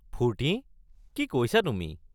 ফূৰ্তি? কি কৈছা তুমি?